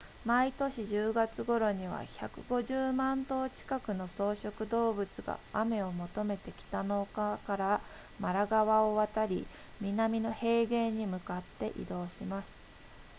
毎年10月頃には150万頭近くの草食動物が雨を求めて北の丘からマラ川を渡り南の平原に向かって移動します